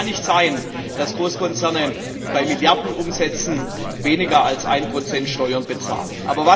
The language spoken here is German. Es kann nicht sein, dass Großkonzerne bei Milliardenumsätzen weniger als ein Prozent Steuern bezahlen.